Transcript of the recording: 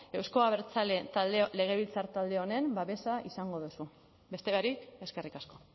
euzko abertzale legebiltzar talde honen babesa izango duzu beste barik eskerrik asko